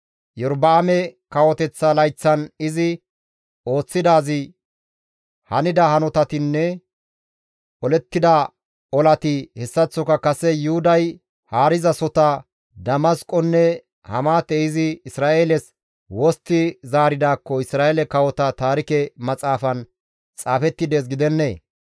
Iyorba7aame kawoteththa layththatan izi ooththidaazi, hanida hanotinne olettida olati hessaththoka kase Yuhuday haarizasota Damasqonne Hamaate izi Isra7eeles wostti zaaridaakko Isra7eele kawota taarike maxaafan xaafetti dees gidennee?